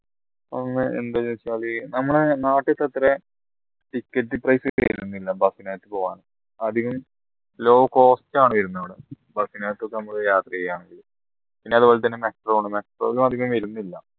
എന്താ ചോദിച്ചാലേ നമ്മുടെ നാട്ടിൽത്ര ticket price കേരുന്നില്ല bus നകത് പോവ്വാൻ അധികം low cost ആണ് വരുന്നത് യാത്ര ചെയ്യാൻ പിന്നെ അതുപോലെ തന്നെ metro ആണ് metro ക്ക് അധികം വരുന്നില്ല